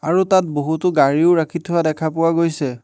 আৰু তাত বহুতো গাড়ীও ৰাখি থোৱা দেখা পোৱা গৈছে।